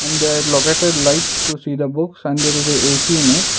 and they are located lights to see the books and there is a ac in it.